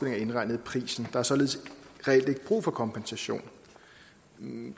er indregnet i prisen er således reelt ikke brug for kompensation